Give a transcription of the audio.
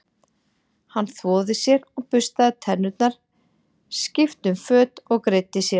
Hann þvoði sér og burstaði tennurnar, skipti um föt og greiddi sér.